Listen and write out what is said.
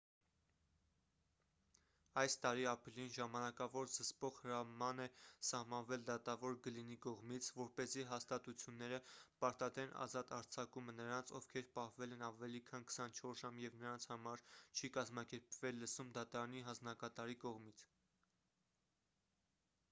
այս տարի ապրիլին ժամանակավոր զսպող հրաման է սահմանվել դատավոր գլինի կողմից որպեսզի հաստատությունները պարտադրեն ազատ արձակումը նրանց ովքեր պահվել են ավելի քան 24 ժամ և նրանց համար չի կազմակերպվել լսում դատարանի հանձնակատարի կողմից